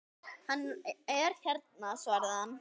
Hann er hérna svaraði hann.